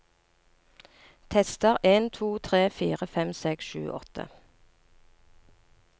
Tester en to tre fire fem seks sju åtte